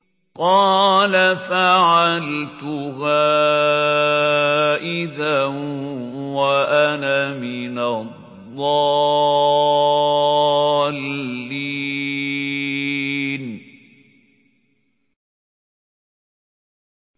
قَالَ فَعَلْتُهَا إِذًا وَأَنَا مِنَ الضَّالِّينَ